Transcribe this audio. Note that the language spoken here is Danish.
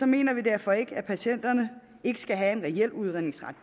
mener vi derfor ikke at patienterne ikke skal have en reel udredningsret